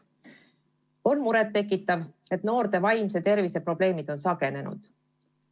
On muret tekitav, et noorte vaimse tervise probleemid on sagenenud.